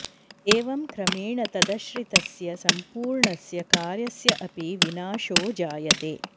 एवं क्रमेण तदश्रितस्य सम्पूर्णस्य कार्यस्य अपि विनाशो जायते